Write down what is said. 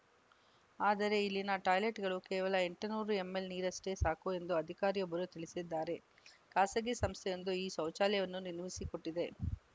ಆದರೆ ಇಲ್ಲಿನ ಟಾಯ್ಲೆಟ್‌ಗಳು ಕೇವಲ ಎಂಟುನೂರು ಎಂಎಲ್‌ ನೀರಷ್ಟೇ ಸಾಕು ಎಂದು ಅಧಿಕಾರಿಯೊಬ್ಬರು ತಿಳಿಸಿದ್ದಾರೆ ಖಾಸಗಿ ಸಂಸ್ಥೆಯೊಂದು ಈ ಶೌಚಾಲಯವನ್ನು ನಿರ್ಮಿಸಿಕೊಟ್ಟಿದೆ